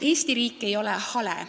Eesti riik ei ole hale.